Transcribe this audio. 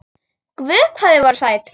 Guð hvað þið voruð sæt!